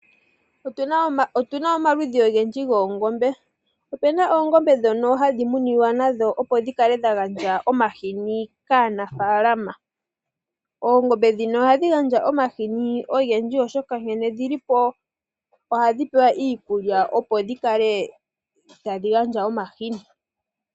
Otuna omaludhi ogendji goongombe. Opena oongombe dhimwe dhono hadhi muniwa nadho opo ku kale dha gandja omahini kaanafalama. Oongombe dhino ohadhi gandja omahini ogendji oshoka nkene dhi li po ohadhi pewa iikulya opo dhi kale tadhi gandja omahini.